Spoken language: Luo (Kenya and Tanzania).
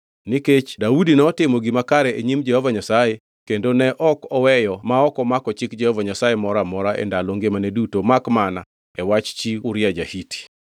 Nikech Daudi notimo gima kare e nyim Jehova Nyasaye kendo ne ok oweyo ma ok omako chik Jehova Nyasaye moro amora e ndalo ngimane duto makmana e wach Uria ja-Hiti.